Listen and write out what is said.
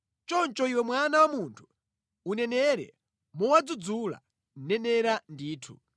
Choncho iwe mwana wa munthu, unenere mowadzudzula. Nenera ndithu.’ ”